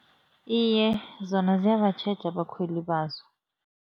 Iye, zona ziyabatjheja abakhweli bazo.